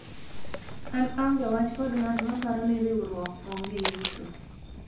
an aonge wach kod ng'at maparo ni riwruok onge yuto